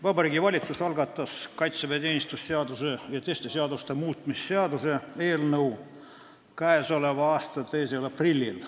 Vabariigi Valitsus algatas kaitseväeteenistuse seaduse ja teiste seaduste muutmise seaduse eelnõu k.a 2. aprillil.